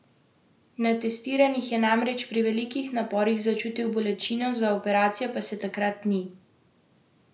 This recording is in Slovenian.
Na testiranjih je namreč pri velikih naporih začutil bolečino, za operacijo pa se takrat ni odločil.